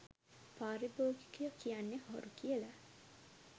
පාරිභෝගිකයො කියන්නෙ හොරු කියලා.